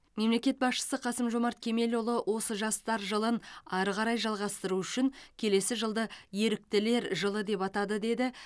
мемлекет басшысы қасым жомарт кемелұлы осы жастар жылын ары қарай жалғастыру үшін келесі жылды еріктілер жылы деп атады деді